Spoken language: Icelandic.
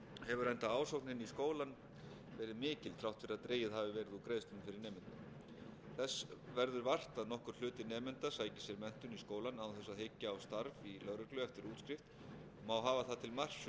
hefur enda ásóknin í skólann verið mikil þrátt fyrir að dregið hafi verið úr greiðslum fyrir nemendur þess verður vart að nokkur hluti nemenda sækir sér menntun í skólann án þess að hyggja á starf í lögreglu eftir